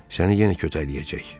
Səni yenə kötəkləyəcək.